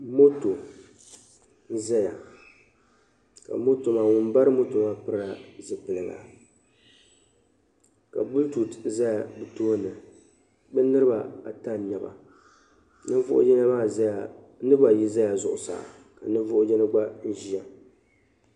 Moto n-zaya ka ka moto maa ŋun ba moto maa piri la zipiligu ka "bluetooth" zaya be tooni be niriba ata n-nyɛba niriba ayi zala zuɣusaa ka ninvuhi yino gba ʒiya.